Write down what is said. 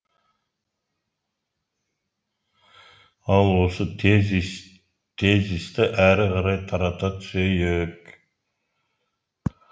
ал осы тезисті әрі қарай тарата түсейік